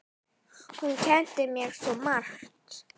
Hún kenndi mér svo margt.